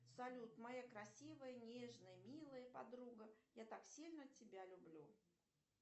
салют моя красивая нежная милая подруга я так сильно тебя люблю